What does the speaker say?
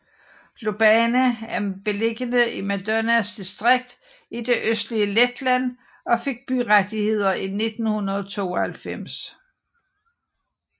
Lubāna er beliggende i Madonas distrikt i det østlige Letland og fik byrettigheder i 1992